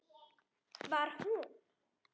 Var hún?!